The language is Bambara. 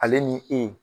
Ale ni e